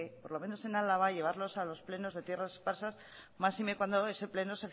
por lo menos en álava llevarlos a los plenos de tierras esparsas máxime cuando ese pleno